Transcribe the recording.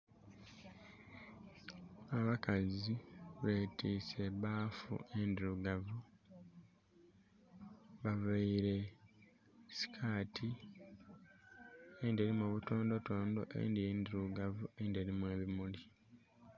Abakazi be twise ebaffu endhirugavu, baveire eskati eyindhi erimu obutondotondo, eyindhi ndhirugavu eyindhi erimu obumuli.